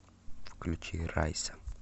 включи райса